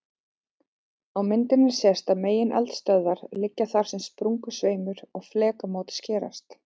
Á myndinni sést að megineldstöðvarnar liggja þar sem sprungusveimur og flekamót skerast.